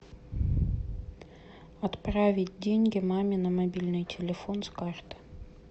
отправить деньги маме на мобильный телефон с карты